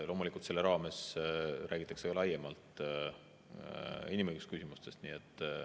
Loomulikult, selle raames räägitakse ka laiemalt inimõigusküsimustest.